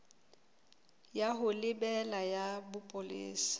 ya ho lebela ya bopolesa